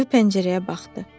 Siyu pəncərəyə baxdı.